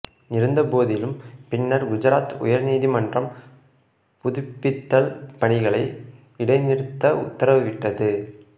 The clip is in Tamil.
இருந்தபோதிலும் பின்னர் குஜராத் உயர் நீதிமன்றம் புதுப்பித்தல் பணிகளை இடைநிறுத்த உத்தரவிட்டது